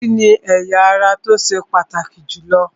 Orí ni ẹ̀ya ara tó ṣe pàtàkì jù lọ